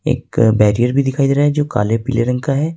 एक बैरियर भी दिखाई दे रहा है जो काले पीले रंग का है।